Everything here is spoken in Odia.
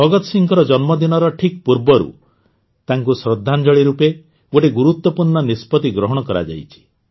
ଭଗତ ସିଂହଙ୍କ ଜନ୍ମଦିନର ଠିକ ପୂର୍ବରୁ ତାଙ୍କୁ ଶ୍ରଦ୍ଧାଞ୍ଜଳୀ ରୂପେ ଗୋଟିଏ ଗୁରୁତ୍ୱପୂର୍ଣ୍ଣ ନିଷ୍ପତି ଗ୍ରହଣ କରାଯାଇଛି